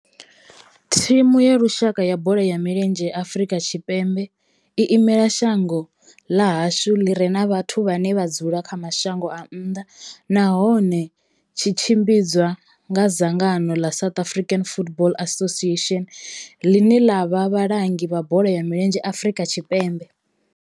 Thimu ya lushaka ya bola ya milenzhe ya Afrika Tshipembe i imela shango ḽa hashu ḽi re na vhathu vhane vha dzula kha mashango a nnḓa nahone tshi tshimbidzwa nga dzangano ḽa South African Football Association, ḽine ḽa vha vhalangi vha bola ya milenzhe Afrika Tshipembe.